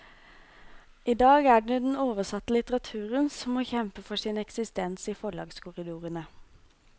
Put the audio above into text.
I dag er det den oversatte litteraturen som må kjempe for sin eksistens i forlagskorridorene.